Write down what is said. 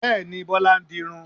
Bẹ́ẹ̀ni, Bọlá ń dirun